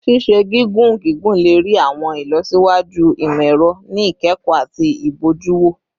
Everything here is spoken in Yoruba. Ṣiṣe gigun gigun le rii awọn ilọsiwaju imọ-ẹrọ ni ikẹkọ ati ibojuwo